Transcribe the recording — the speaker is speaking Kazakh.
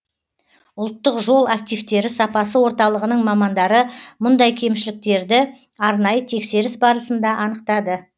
ұлттық жол активтері сапасы орталығының мамандары мұндай кемшіліктерді арнайы тексеріс барысында анықтады